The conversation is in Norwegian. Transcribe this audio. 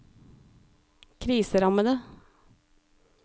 kriserammede